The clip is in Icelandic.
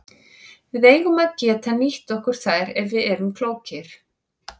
Við eigum að geta nýtt okkur þær ef við erum klókir.